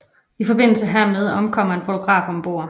I forbindelse hermed omkommer en fotograf om bord